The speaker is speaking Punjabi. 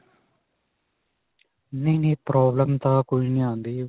ਨਹੀਂ, ਨਹੀਂ. problem ਤਾਂ ਕੋਈ ਨਹੀਂ ਆਉਂਦੀ.